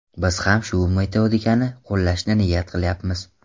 Biz ham shu metodikani qo‘llashni niyat qilayapmiz.